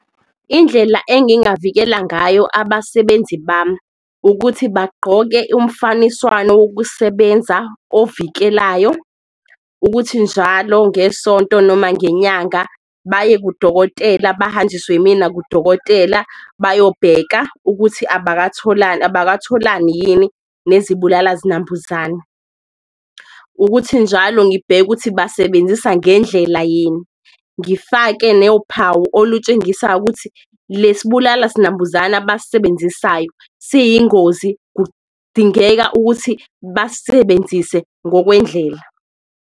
Indlela engingavikela ngayo abasebenzi bami ukuthi bagqoke umfaniswano wokusebenza ovikelayo, ukuthi njalo ngesonto noma ngenyanga baye kudokotela, bahanjiswe imina kudokotela bayobheka ukuthi abakatholani yini nezibulala-zinambuzane. Ukuthi njalo ngibheke ukuthi basebenzisa ngendlela yini, ngifake nophawu olusetshenziswayo ukuthi, le sibulala-sinambuzana abasisebenzisayo siyingozi kudingeka ukuthi basisebenzise ngokwendlela.